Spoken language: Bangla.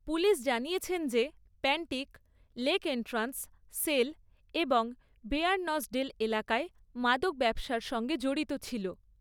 পুলিশ জানিয়েছে যে প্যান্টিক লেক এন্ট্রান্স, সেল এবং বেয়ারনসডেল এলাকায় মাদক ব্যবসার সঙ্গে জড়িত ছিল।